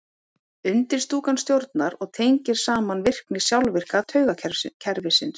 undirstúkan stjórnar og tengir saman virkni sjálfvirka taugakerfisins